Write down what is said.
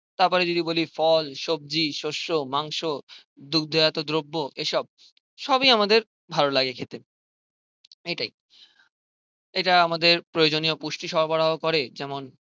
তারপরে যদি বলি ফল, সব্জি, শস্য, মাংস দুগ্ধ জাত দ্রব্য এসব সবই আমাদের ভালো লাগে খেতে. এটাই. এটা আমাদের প্রয়োজনীয় পুষ্টি সরবরাহ করে যেমন